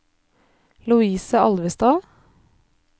Lovise Alvestad